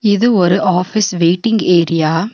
இது ஒரு office waiting area .